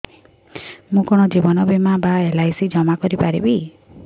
ମୁ କଣ ଜୀବନ ବୀମା ବା ଏଲ୍.ଆଇ.ସି ଜମା କରି ପାରିବି